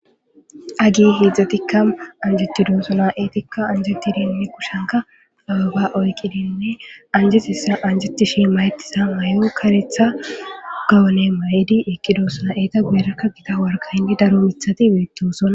agi hedzdzatikka anjetidosona eetikka anjettidinne kushenka ababa oyqidinne anjetissa anjeti shi mayettisa mayo karetha gawone ma7idi eqqidosona eeta guerakka gita warka hindi daro mithati beettosona